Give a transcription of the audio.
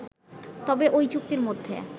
তবে ঐ চুক্তির মধ্যে